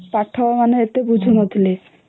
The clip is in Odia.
ପାଠ ମାନେ ଏତେ ବୁଝୁ ନଥିଲେ